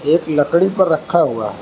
एक लकड़ी पर रखा हुआ--